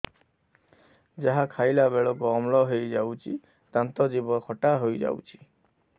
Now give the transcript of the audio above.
ଯାହା ଖାଇଲା ବେଳକୁ ଅମ୍ଳ ହେଇଯାଉଛି ଦାନ୍ତ ଜିଭ ଖଟା ହେଇଯାଉଛି